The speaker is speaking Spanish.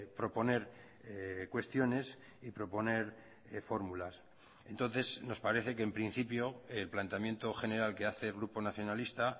proponer cuestiones y proponer fórmulas entonces nos parece que en principio el planteamiento general que hace el grupo nacionalista